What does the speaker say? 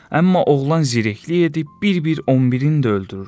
Amma oğlan zirəklik edib bir-bir 11-in də öldürür.